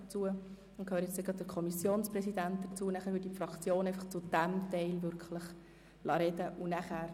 Gleich kommt der Kommissionspräsident zu Wort, und dann folgen die Fraktionssprecher zu diesem Themenblock.